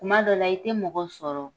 Kuma dɔ la i tɛ mɔgɔ sɔrɔ,